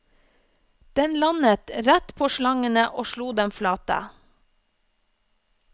Den landet rett på slangene og slo dem flate.